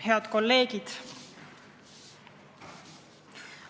Head kolleegid!